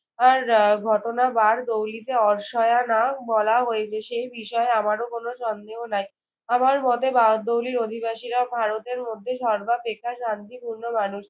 আর আহ ঘটনা বারদৌলিতে অর্শয়া নাম বলা হইবে। সেই বিষয়ে আমারো কোনো কোনো সন্দেহ নাই। আমার মতে বারদৌলির অধিবাসীরা ভারতের মধ্যে সর্বাপেক্ষা শান্তিপূর্ণ মানুষ।